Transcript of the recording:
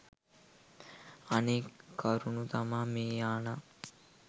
අනෙක් කරුණු තමා මේ යානා